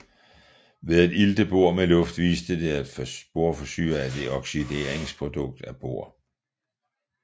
Ved at ilte bor med luft viste de at borsyre er et oxideringsprodukt af bor